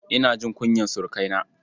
Ina jin kunyar surukaina.